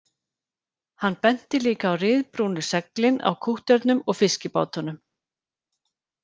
Hann benti líka á ryðbrúnu seglin á kútterunum og fiskibátunum